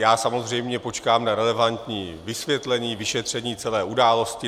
Já samozřejmě počkám na relevantní vysvětlení, vyšetření celé události.